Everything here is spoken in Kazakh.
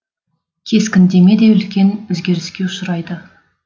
кескіндеме де ұлкен өзгеріске ұшырайды